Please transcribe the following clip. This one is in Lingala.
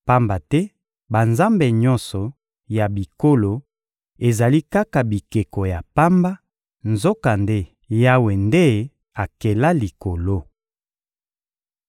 Pamba te banzambe nyonso ya bikolo ezali kaka bikeko ya pamba, nzokande Yawe nde akela likolo.